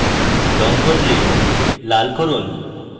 red বদলে লাল করুন